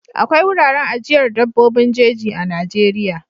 Akwai wuraren ajiyar dabbobin jeji a Najeriya.